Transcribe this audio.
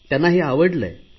त्यांना हे आवडले आहे